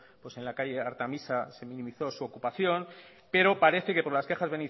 en la calle artemisa se minimizó su ocupación pero parece que por las quejas